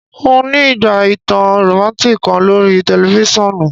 N o ni ígbà ìtàn romantic kan lorí tẹlifisiọnu